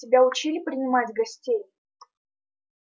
тебя учили принимать гостей